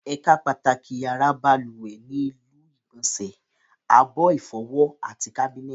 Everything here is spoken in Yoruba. Ẹ̀ka pàtàkì yàrá balùwẹ̀ ni ilu ìgbọ̀nsẹ̀, abọ́ ìfọwọ́, àti kábínẹ̀tì